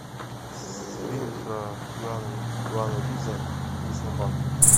фильм про киану ривза и собаку